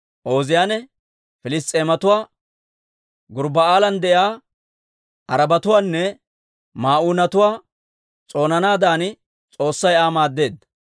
Ooziyaane Piliss's'eematuwaa, Gurbba'aalan de'iyaa Arabatuwaanne Ma'uunatuwaa s'oonanaadan S'oossay Aa maaddeedda.